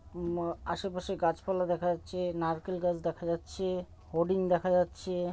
উম আ-আশেপাশে গাছপালা দেখা যাচ্ছে। নারকেল গাছ দেখা যাচ্ছে। হোডিং দেখা যাচ্ছে।